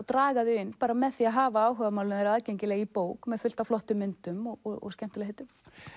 draga þau inn með að hafa áhugamálin þeirra aðgengileg í bók með fullt af flottum myndum og skemmtilegheitum